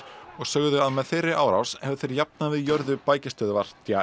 og sögðu að með þeirri árás hefðu þeir jafnað við jörðu bækistöðvar